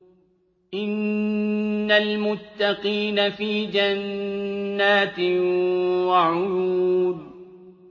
إِنَّ الْمُتَّقِينَ فِي جَنَّاتٍ وَعُيُونٍ